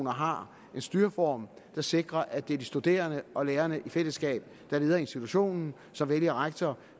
har en styreform der sikrer at det er de studerende og lærerne i fællesskab der leder institutionen som vælger rektor